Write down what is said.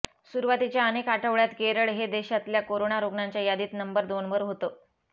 सुरुवातीच्या अनेक आठवड्यात केरळ हे देशातल्या कोरोना रुग्णांच्या यादीत नंबर दोनवर होतं